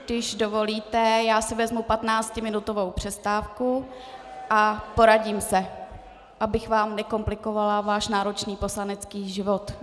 Když dovolíte, já si vezmu patnáctiminutovou přestávku a poradím se, abych vám nekomplikovala váš náročný poslanecký život.